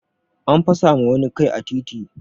An fasa ma wani kai a titi